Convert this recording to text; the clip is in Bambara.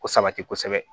Ko sabati kosɛbɛ